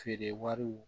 Feere wariw